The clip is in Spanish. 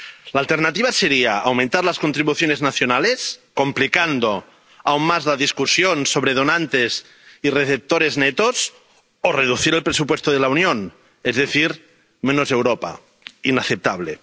La alternativa sería aumentar las contribuciones nacionales, complicando aún más la discusión sobre donantes y receptores netos, o reducir el presupuesto de la Unión, es decir, menos Europa inaceptable.